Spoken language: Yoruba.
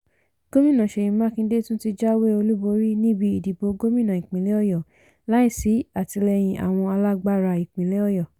gómìnà seyi makinde tún ti jáwé olúborí níbi ìdìbò gómìnà ìpínlẹ̀ ọ̀yọ́ láìsí àtìlẹyìn àwọn alágbára ìpínlẹ̀ ọ̀yọ́